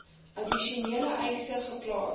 addisionele eise geplaas